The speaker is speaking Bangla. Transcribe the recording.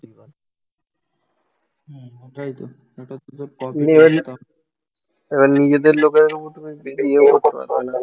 এবার নিজেদের লোকের ওপর তুমি বেশী এও করতে পারবেনা